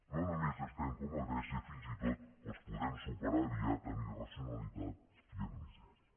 no només estem com a grècia fins i tot els podem superar aviat en irracionalitat i en misèria